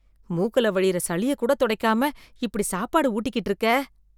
மூக்குல வழியிற சளியக் கூட தொடைக்காம இப்படி சாப்பாடு ஊட்டிக்கிட்டு இருக்க